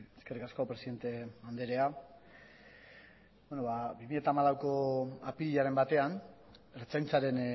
eskerrik asko presidente andrea bi mila hamalauko apirilaren batean ertzaintzaren